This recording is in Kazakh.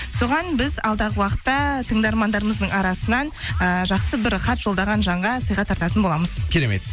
соған біз алдағы уақытта тыңдармандарымыздың арасынан ыыы жақсы бір хат жолдаған жанға сыйға тартатын боламыз керемет